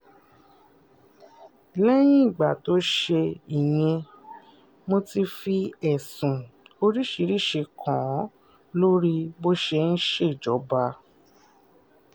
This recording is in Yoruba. lẹ́yìn ìgbà tó ṣe ìyẹn mo ti fi ẹ̀sùn oríṣiríṣiì kàn án lórí bó ṣe ń ṣèjọba